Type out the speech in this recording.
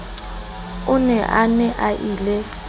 o ne a na ie